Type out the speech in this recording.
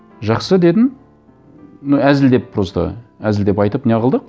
жақсы дедім ну әзілдеп просто әзілдеп айтып не қылдық